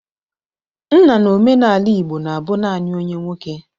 Nna n'omenala Igbo na-abụ nani onye nwoke.